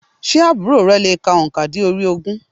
Sé àbúrò re le è ka ònkà óokan dé orí ogún?